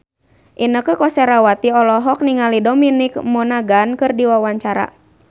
Inneke Koesherawati olohok ningali Dominic Monaghan keur diwawancara